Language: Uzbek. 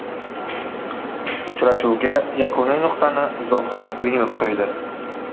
Uchrashuvga yakuniy nuqtani Zohir Pirimov qo‘ydi.